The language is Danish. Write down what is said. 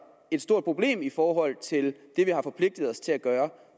et stort problem i forhold til det vi har forpligtet os til at gøre